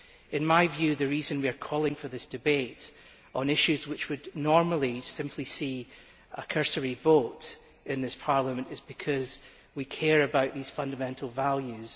In my view, the reason we are calling for this debate on issues which would normally simply see a cursory vote in this Parliament is because we care about these fundamental values.